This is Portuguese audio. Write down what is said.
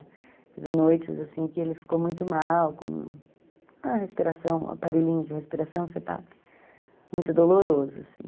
Teve noites, assim, que ele ficou muito mal, com a respiração, o aparelhinho de respiração, muito doloroso, assim.